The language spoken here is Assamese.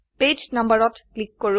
পেজ number ৰত ক্লিক কৰো